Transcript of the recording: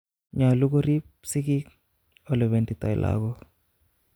Nyolu koriip sigiik olependitoo lagok